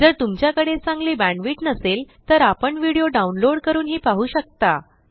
जर तुमच्याकडे चांगली बॅण्डविड्थ नसेल तर आपण व्हिडिओ डाउनलोड करूनही पाहू शकता